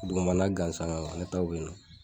Dugumana gansan ne ta y'o ye